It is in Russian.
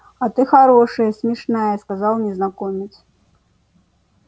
а ты хорошая смешная сказал незнакомец